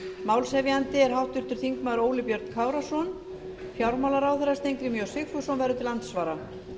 málshefjandi er háttvirtur þingmaður óli björn kárason fjármálaráðherra steingrímur j sigfússon verður til andsvara